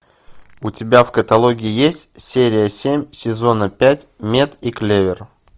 у тебя в каталоге есть серия семь сезона пять мед и клевер